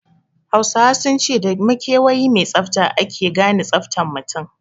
Hausawa sun ce da makawayi mai tsafta ake gane tsaftan mutun